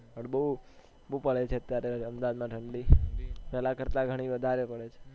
બો પડે છે અત્યારે અહમદાબાદ માં ઠંડી પેહલા કરતા ઘણી વધારે પડે છે